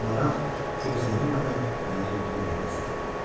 amma maraq gözlənilmədən məni durduğum yerdə saxladı.